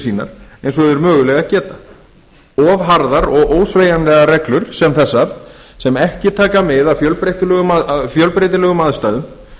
sínar eins og þeir mögulega geta of harðar og of ósveigjanlegar reglur sem þessar sem ekki taka mið af fjölbreytilegum aðstæðum